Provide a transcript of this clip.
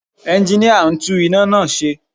Ẹnginíà ń tún iná náà ṣe